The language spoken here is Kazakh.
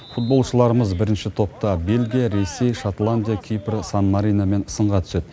футболшыларымыз бірінші топта бельгия ресей шотландия кипр сан мариномен сынға түседі